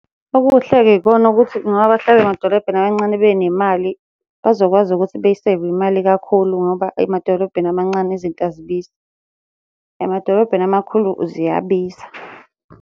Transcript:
Okuhle-ke ikona ukuthi ngoba bahlala emadolobheni amancane benemali, bazokwazi ukuthi beyi-save-e imali kakhulu ngoba emadolobheni amancane izinto azibizi. Emadolobheni amakhulu ziyabiza.